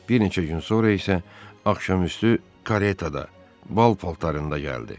Bir neçə gün sonra isə axşamüstü karetada bal paltarında gəldi.